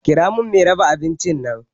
Kira mun mai raba abincin nan